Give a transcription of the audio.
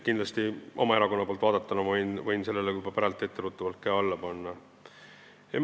Kindlasti oma erakonna poolt vaadates ma võin sellele juba praegu käe alla panna.